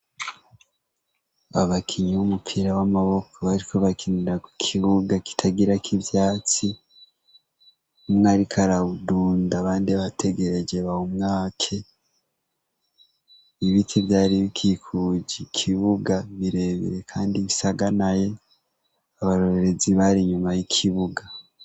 Abakinyi b'umupira w'amaboko bariko bakinira ku kibuga kitagira k'ivyatsi. umwe ariko arawudunda abandi bategereje ngo bawumwake. Ibiti vyari bikikuje ikibuga birebire kandi bisaganaye abarorerezi bari inyuma y'ikibuga.